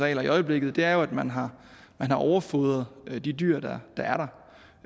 i øjeblikket er jo at man har overfodret de dyr der